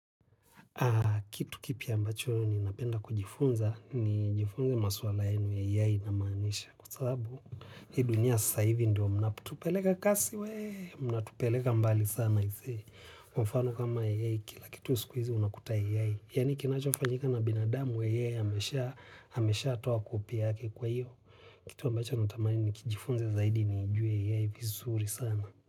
Kitu kipi ambacho ninapenda kujifunza ni jifunze masuala enu ya ya inamanisha. Kwa saabu, hi dunia sasaivi ndio mnatupelega kasi we, mnatupeleka mbali sana. Kwa mfano kama ya kila kitu uskuizi unakuta ya ya. Yani kinacho fanyika na binadamu ya ya hamesha ameshatoa copy yake kwa hiyo. Kitu ambacho ntamani ni kijifunze zaidi ni jue ya ya vizuri sana.